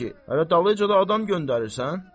Hələ dalınca da adam göndərirsən?